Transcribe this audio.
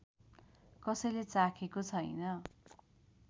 कसैले चाखेको छैन